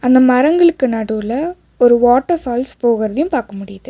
அந்த மரங்களுக்கு நடுவுல ஒரு வாட்டர் ஃபால்ஸ் போகுறதையும் பாக்க முடியுது.